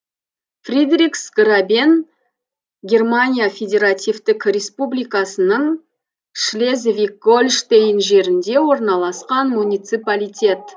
фридриксграбен германия федеративтік республикасының шлезвиг гольштейн жерінде орналасқан муниципалитет